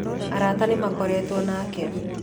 Arata nĩmakoretwo nake